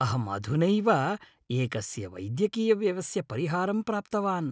अहं अधुनैव एकस्य वैद्यकीयव्ययस्य परिहारं प्राप्तवान्।